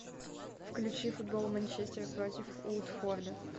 включи футбол манчестер против уотфорда